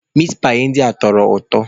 Mitpaị ndị a tọkwara ụtọ.